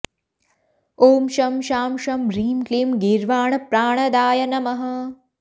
ॐ शं शां षं ह्रीं क्लीं गीर्वाणप्राणदाय नमः